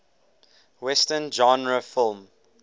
western genre film